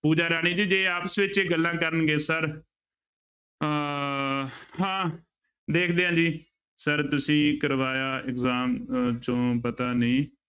ਪੂਜਾ ਰਾਣੀ ਜੀ ਜੇ ਆਪਸ ਵਿੱਚ ਗੱਲਾਂ ਕਰਨਗੇ ਸਰ ਅਹ ਹਾਂ ਦੇਖਦੇ ਹਾਂ ਜੀ ਸਰ ਤੁਸੀਂ ਕਰਵਾਇਆ exam ਚੋਂ ਪਤਾ ਨਹੀਂ